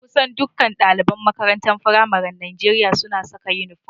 Kusan dukkan ɗaliban makarantun faramaren Najeriya suna saka inifom